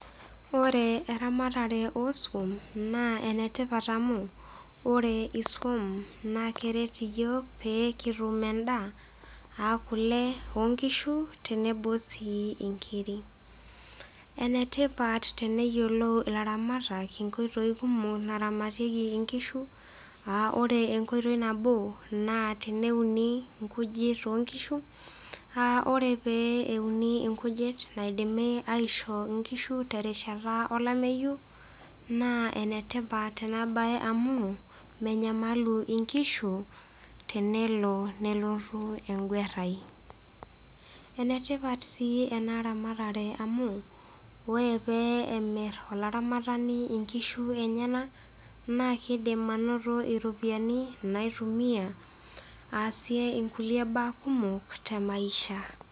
Ore eramatare osum na enetipat amu ore isum na keret iyol pekitum endaa aa kule onkishu tenebo si nkirik na enetipat teneyiolou ilaramatak nkoitoi kumok naramatieki nkishu aa ore enkoitoi nabi na teneuni nkujit onkishu aa ore peuni nkujit naidimi aishoo nkishu terishata olameyu na enetipat enabae amu menyamalu nkishu tenelo nelotu engwerai enetipat si enaramatare anu ore pemir olaramatani nkishu enyenak na kidim ainoto iropiyiani naitumiai aasie nkulie baa kumok temaisha.